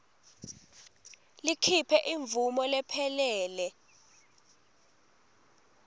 likhiphe imvumo lephelele